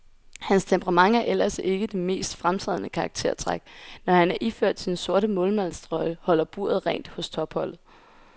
Hans temperament er ellers ikke det mest fremtrædende karaktertræk, når han iført sin sorte målmandstrøje holder buret rent hos topholdet.